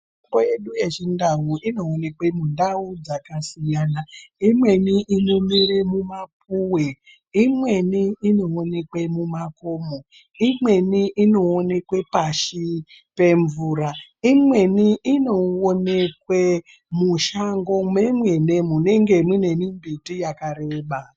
Mitombo yedu yechindau inoonekwe mundau dzakasiyana imweni inomere mumapuwe, imweni inoonekwe mumakomo, imweni inoonekwe pashi pemvura, imweni inoonekwe mushango mwemene munenge mune mimbiti yakareba.